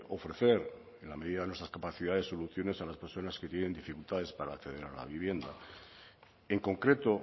ofrecer en la medida de nuestras capacidades soluciones a las personas que tienen dificultades para acceder a la vivienda en concreto